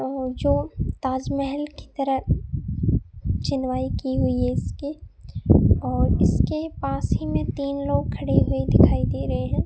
जो ताजमहल की तरह चिनवाई की हुई है इसके और इसके पास ही में तीन लोग खड़े हुए दिखाई दे रहे हैं।